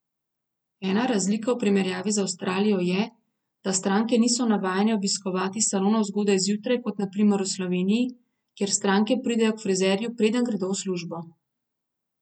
Ena razlika v primerjavi z Avstralijo je, da stranke niso navajene obiskovati salonov zgodaj zjutraj kot na primer v Sloveniji, kjer stranke pridejo k frizerju, preden gredo v službo.